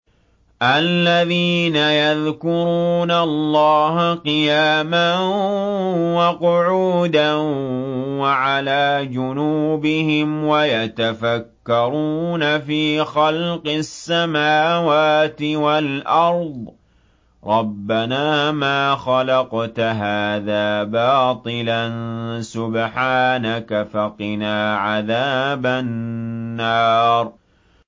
الَّذِينَ يَذْكُرُونَ اللَّهَ قِيَامًا وَقُعُودًا وَعَلَىٰ جُنُوبِهِمْ وَيَتَفَكَّرُونَ فِي خَلْقِ السَّمَاوَاتِ وَالْأَرْضِ رَبَّنَا مَا خَلَقْتَ هَٰذَا بَاطِلًا سُبْحَانَكَ فَقِنَا عَذَابَ النَّارِ